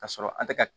Ka sɔrɔ an tɛ ka